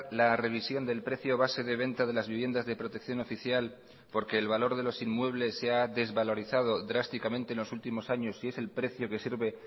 la revisión del precio base de venta de las viviendas de protección oficial porque el valor de los inmuebles se ha desvalorizado drásticamente en los últimos años y es el precio que sirve